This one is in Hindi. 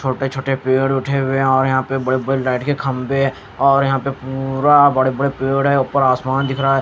छोटे छोटे पेड़ उठे हुए और यहां पे बड़े बड़े लाइट के खंभे है और यहां पे पूरा बड़े बड़े पेड़ है ऊपर आसमान दिख रहा है।